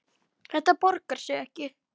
Þetta borgar sig ekki.